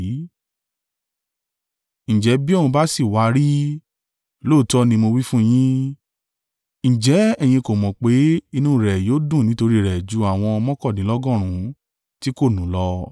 Ǹjẹ́ bí òun bá sì wá á rí i, lóòótọ́ ni mo wí fún yín, ǹjẹ́ ẹ̀yin kò mọ̀ pé inú rẹ̀ yóò dùn nítorí rẹ̀ ju àwọn mọ́kàndínlọ́gọ́rùn-ún tí kò nù lọ?